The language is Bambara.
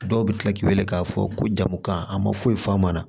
Dɔw bɛ tila k'i wele k'a fɔ ko jamukan a ma foyi faamu a ma